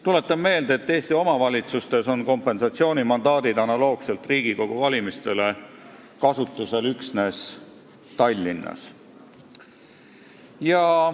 Tuletan meelde, et Eesti omavalitsustes on kompensatsioonimandaadid analoogselt Riigikogu valimistega kasutusel üksnes Tallinnas.